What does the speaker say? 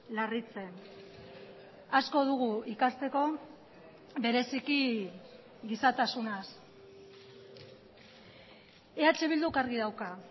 larritzen asko dugu ikasteko bereziki gizatasunaz eh bilduk argi dauka